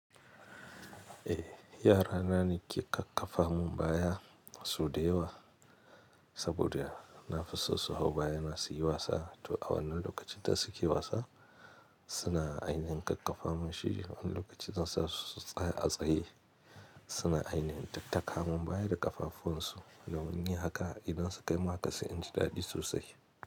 Eh, yara na ne ke kakkafa mun bayah sau da yawa. Saboda na fi so su hau baya na su yi wasa. To a wannan lokacin da su ke wasa suna ainihin kakkafa mun shi. Wani lokaci zansa su tsaya a tsaye suna ainihin tattaka mun baya da ƙafafun su. Dan wani haka idan su kai min haka sai inji daɗi sosai.